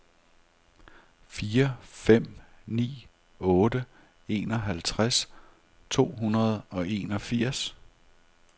fire fem ni otte enoghalvtreds to hundrede og enogfirs